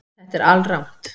Þetta er alrangt